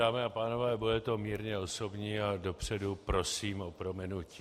Dámy a pánové, bude to mírně osobní a dopředu prosím o prominutí.